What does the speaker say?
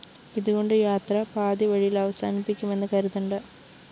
ഇതുകണ്ട് യാത്ര പാതിവഴി യില്‍ അവസാനിപ്പിക്കുമെന്ന് കരുതണ്ട